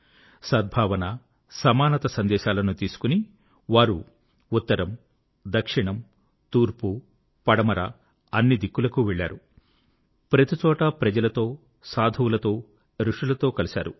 సద్భావన సమానత సందేశాలను తీసుకొని వారు ఉత్తరం దక్షిణం తూర్పు పడమర అన్ని దిక్కులకూ వెళ్ళారు ప్రతి చోటా ప్రజలతో సాధువులతో ఋషులతో కలిశారు